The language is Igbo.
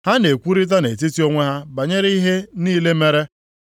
Ha na-ekwurịta nʼetiti onwe ha banyere ihe niile mere.